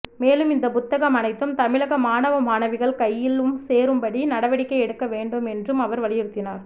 மேலும் இந்த புத்தகம் அனைத்து தமிழக மாணவ மாணவிகள் கையிலும் சேரும்படி நடவடிக்கை எடுக்க வேண்டும் என்றும் அவர் வலியுறுத்தினார்